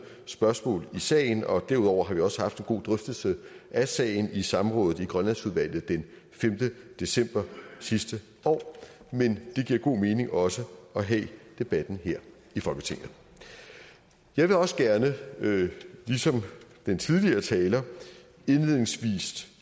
spørgsmål i sagen og derudover vi jo også haft en god drøftelse af sagen i samrådet i grønlandsudvalget den femte december sidste år men det giver god mening også at have debatten her i folketinget jeg vil også gerne ligesom den tidligere taler indledningsvis